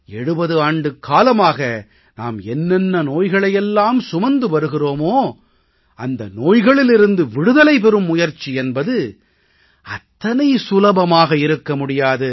70 ஆண்டுக்காலமாக நாம் என்னென்ன நோய்களையெல்லாம் சுமந்து வருகிறோமோ அந்த நோய்களிலிருந்து விடுதலை பெறும் முயற்சி என்பது அத்தனை சுலபமாக இருக்க முடியாது